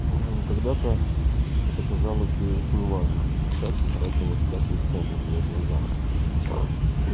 аа когда-то это казалось ей очень важным а сейчас утратило всякую цену в её глазах